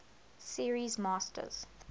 series masters